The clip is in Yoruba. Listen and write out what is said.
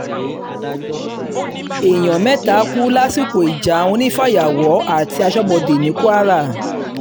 um èèyàn mẹ́ta kú lásìkò ìjà um àwọn onífàyàwọ́ àti aṣọ́bodè ní kwara